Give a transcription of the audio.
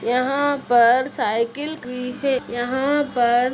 यहाँ पर साइकिल है। यहाँ पर --